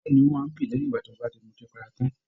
Bẹẹni, o máa n bí lẹyìn tí o ba m'ọtí para tán.